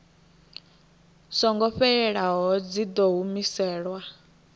songo fhelelaho dzi ḓo humiselwa